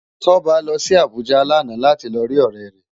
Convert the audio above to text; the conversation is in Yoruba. Toba lò si Abuja làná láti ló ri órè rè